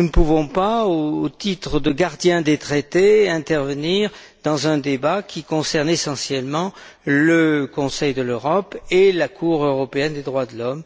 ne pouvons pas, au titre de gardiens des Traités, intervenir dans un débat qui concerne essentiellement le Conseil de l'Europe et la Cour européenne des droits de l'homme.